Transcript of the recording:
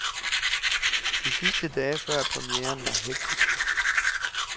De sidste dage før premieren var hektiske.